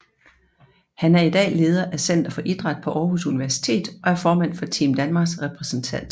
Han er i dag leder af Center for Idræt på Aarhus Universitet og er formand for Team Danmarks repræsentantskab